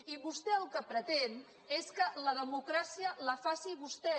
i vostè el que pretén és que la democràcia la faci vostè